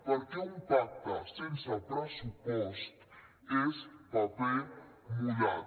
perquè un pacte sense pressupost és paper mullat